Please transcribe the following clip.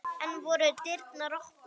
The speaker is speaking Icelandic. Enn voru dyrnar opnar.